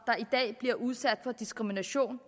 der i dag bliver udsat for diskrimination